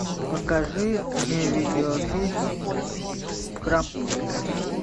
покажи мне видеофильм крампус